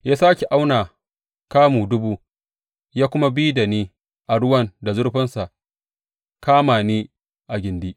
Ya sāke auna kamu dubu ya kuma bi da ni a ruwan da zurfinsa kama ni a gindi.